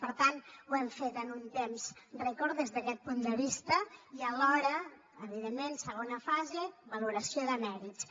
per tant ho hem fet en un temps rècord des d’aquest punt de vista i alhora evidentment segona fase valoració de mèrits